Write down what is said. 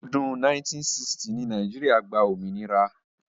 Ní ọdún 1960 ni Nàìjíríà gba òmìnira.